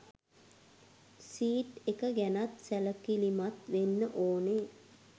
Seat එක ගැනත් සැලකිලිමත් වෙන්න ඕනෙ.